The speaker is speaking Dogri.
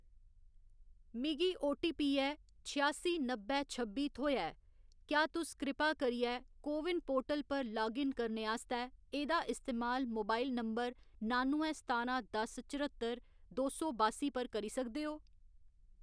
मिगी ओटीपी ऐ छिआसी नब्बै छब्बी थ्होएआ ऐ, क्या तुस कृपा करियै को विन पोर्टल पर लाग इन करने आस्तै एह्‌‌‌दा इस्तेमाल मोबाइल नंबर नुआनुएं सतारां दस चर्हत्तर दो सौ बास्सी पर करी सकदे ओ?